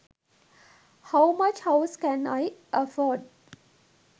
how much house can i afford